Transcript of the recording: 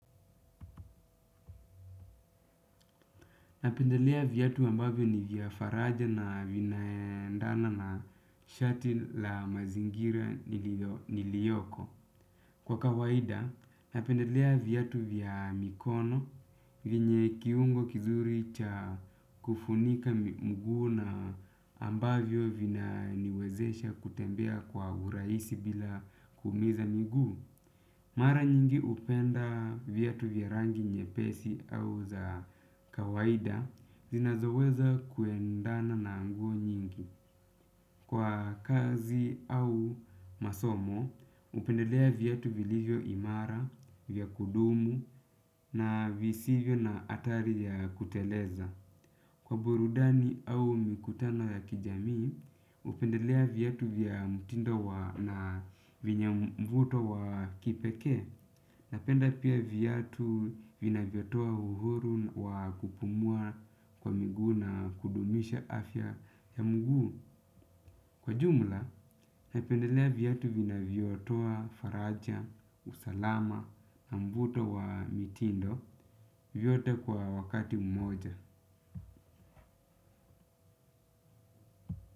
Napendelea viatu ambavyo ni vya faraja na vinaendana na shati la mazingira niliyoko. Kwa kawaida, napendelea viatu vya mikono, venye kiungo kizuri cha kufunika mguu na ambavyo vina niwezesha kutembea kwa urahisi bila kuumiza miguu. Mara nyingi hupenda viatu vya rangi nyepesi au za kawaida zinazoweza kuendana na nguo nyingi. Kwa kazi au masomo, hupendelea viatu vilivyo imara, vya kudumu na visivyo na hatari ya kuteleza. Kwa burudani au mikutano ya kijami, hupendelea viatu vya mtindo na venye mvuto wa kipekee. Napenda pia viatu vina vyotoa uhuru wakupumua kwa miguu na kudumisha afya ya mguu. Kwa jumla, napendelea viatu vina vyotoa faraja, usalama na mvuto wa mitindo, vyote kwa wakati umoja.